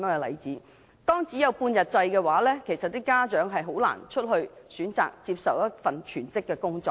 幼稚園只有半日制的話，家長將難以選擇全職工作。